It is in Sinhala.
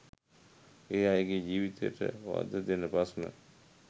ඒ අයගේ ජීවිතයට වධදෙන ප්‍රශ්න